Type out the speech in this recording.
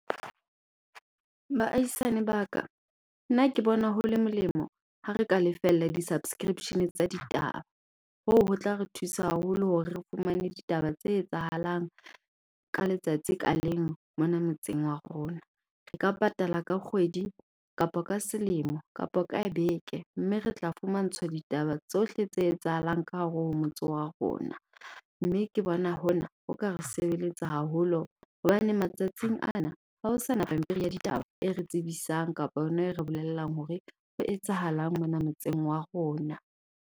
Baahiisane ba ka nna ke bona hole molemo ha re ka lefella di-subscription tsa ditaba. Hoo ho tla re thusa haholo hore re fumane ditaba tse etsahalang ka letsatsi ka leng mona motseng wa rona. Re ka patala ka kgwedi kapo ka selemo kapo ka beke, mme re tla fumantshwa ditaba tsohle tse etsahalang ka hare ho motse wa rona. Mme ke bona hona ho ka re sebeletsa haholo hobane matsatsing ana hao sana pampiri ya ditaba e re tsebisang kapa yona e re bolellang hore ho etsahalang mona motseng wa rona.